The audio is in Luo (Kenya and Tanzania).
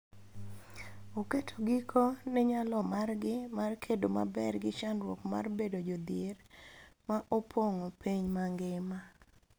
Oketo giko ne nyalo margi mar kedo maber gi chandruok mar bedo jodhier ma opong�o piny mangima.